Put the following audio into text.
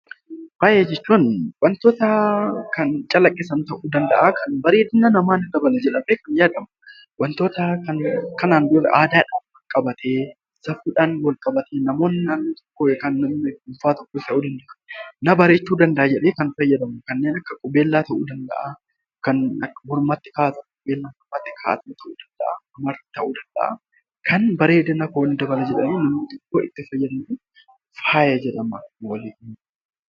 Faaya jechuun wantoota kan calaqqisan ta'uu danda'a kan bareedina ni dabala jedhamee yaadamu ta'uu ni danda'a. Wantoota kanaan dura aadaadhaan wal qabatee safuudhaan wal qabatee namoonni naannoo tokkoo na bareechuu danda'a jedhee kan fayyadamudha. Kanneen akka qubeellaa, kan mormatti kaawwatamu ta'uu danda'a